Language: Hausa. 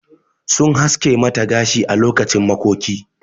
Sun haske mata gashi ã lokacin makoki.